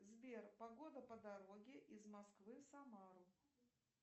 сбер погода по дороге из москвы в самару